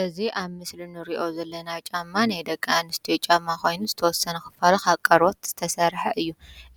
እዚ ኣብ ምስሊ እንሪኦ ዘለና ጫማ ናይ ደቄ ኣንስትዮ ጫማ ኾይኑ ዝተወሰነ ኽፋሉ ካብ ቆርበት ዝተሰርሐ እዩ::